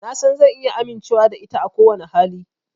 Na san zan iya amincewa da ita a kowane hali.